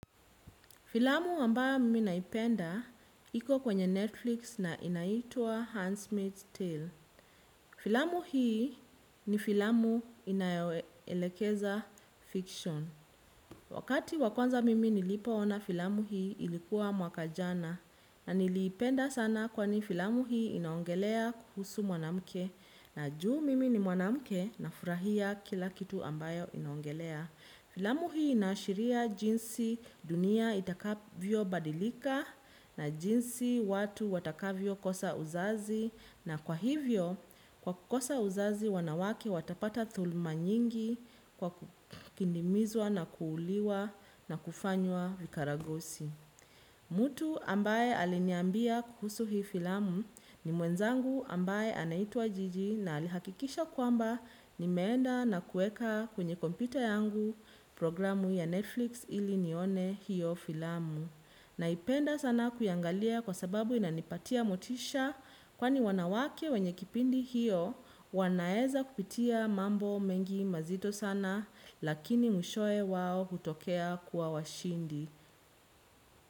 Filamu ambayo mimi naipenda, iko kwenye Netflix na inaitua Handsmith's Tale. Filamu hii ni filamu inayoelekeza fiction. Wakati wa kwanza mimi nilipo ona filamu hii ilikuwa mwaka jana. Na niliipenda sana kwani filamu hii inaongelea kuhusu mwanamke. Na juu mimi ni mwanamke na furahia kila kitu ambayo inaongelea. Filamu hii inashiria jinsi dunia itakavyo badilika na jinsi watu watakavyo kosa uzazi na kwa hivyo kwa kukosa uzazi wanawake watapata dhulma nyingi kwa kindimizwa na kuuliwa na kufanywa vikaragosi. Mtu ambaye aliniambia kuhusu hii filamu ni mwenzangu ambaye anaitwa jiji na alihakikisha kwamba nimeenda na kuweka kwenye kompyuta yangu programu ya Netflix ili nione hiyo filamu. Naipenda sana kuiangalia kwa sababu inanipatia motisha kwani wanawake wenye kipindi hiyo wanaweza kupitia mambo mengi mazito sana lakini mwishowe wao hutokea kuwa washindi.